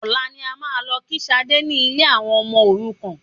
Ọ̀la ni a máa lọ kí Sadé ni ilé àwọn ọmọ òrukàn